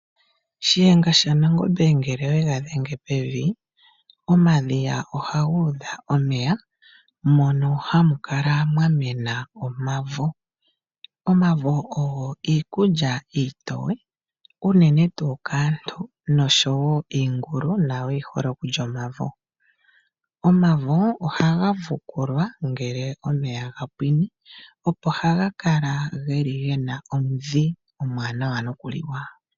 Shiyenga shaNangombe ngele oye ga dhenge pevi, omadhiya ohaga udha omeya mono hamu kala mwa mena omavo. Omavo ogo iikulya iitoye, unene tuu kaantu noshowo iingulu nayo oyi hole okulya omavo. Omavo ohagu fukulwa ngele omeya ga pwine, opo haga kala ge na omudhi omwaanawa nokuliwa.